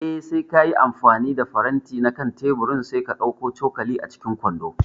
Eh, sai kayi amfani da faranti na kan teburin sai ka ɗauko cokali a cikin kwando